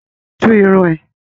Tú irun ẹ!